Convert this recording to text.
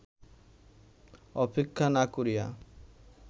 অপেক্ষা না করিয়া